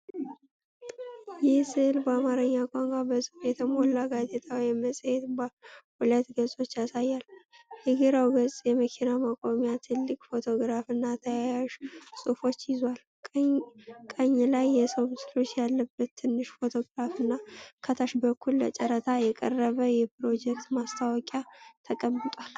ይህ ሥዕል በአማርኛ ቋንቋ በጽሑፍ የተሞላ ጋዜጣ ወይም መጽሔት ሁለት ገጾችን ያሳያል። የግራው ገጽ የመኪና ማቆሚያ ትልቅ ፎቶግራፍና ተያያዥ ጽሑፎችን ይዟል። ቀኝ ላይ የሰው ምስሎች ያለበት ትንሽ ፎቶግራፍና ከታች በኩል ለጨረታ የቀረበ የፕሮጀክት ማስታወቂያ ተቀምጧል።